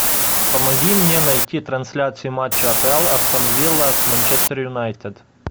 помоги мне найти трансляцию матча апл астон вилла с манчестер юнайтед